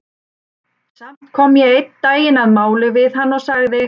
Samt kom ég einn daginn að máli við hann og sagði